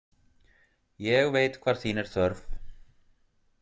Ég veit hvar þín er þörf.